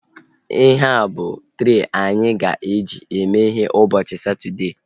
Ihea bụ trei anyị ga-eji mee ihe ụbọchị Satọdee